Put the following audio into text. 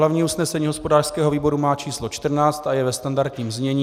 Hlavní usnesení hospodářského výboru má číslo 14 a je ve standardním znění.